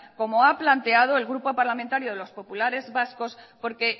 como ha planteado el grupo parlamentario de los populares vascos porque